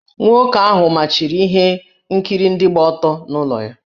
Nwoke ahụ machiri ihe nkiri ndị gba ọtọ n’ụlọ ya.